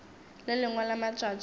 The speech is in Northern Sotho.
le lengwe la matšatši a